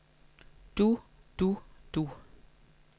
du du du